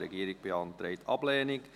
Die Regierung beantragt Ablehnung.